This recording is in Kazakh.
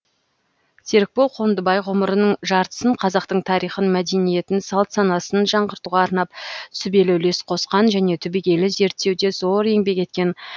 серікбол қондыбай ғұмырының жартысын қазақтың тарихын мәдениетін салт санасын жаңғыртуға арнап сүбелі үлес қосқан және түбегейлі зерттеуде зор еңбек еткен